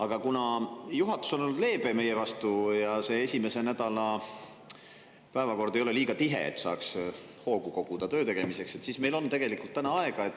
Aga kuna juhatus on olnud meie vastu leebe ja selle esimese nädala päevakord ei ole liiga tihe, et saaks koguda hoogu töö tegemiseks, siis meil on tegelikult täna aega.